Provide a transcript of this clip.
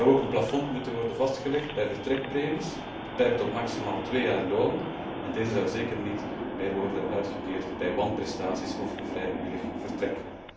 Er zou ook een plafond moeten worden vastgelegd bij vertrekpremies, beperkt tot maximaal twee jaar loon, en deze zouden zeker niet meer mogen worden uitgekeerd bij wanprestaties of vrijwillig vertrek.